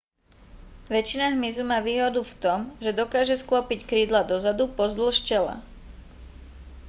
väčšina hmyzu má výhodu v tom že dokáže sklopiť krídla dozadu pozdĺž tela